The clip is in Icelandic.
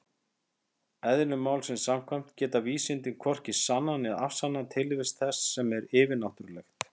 Eðli málsins samkvæmt geta vísindin hvorki sannað né afsannað tilvist þess sem er yfirnáttúrulegt.